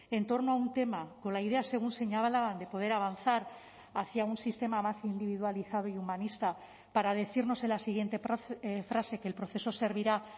en torno a un tema con la idea según señalaban de poder avanzar hacia un sistema más individualizado y humanista para decirnos en la siguiente frase que el proceso servirá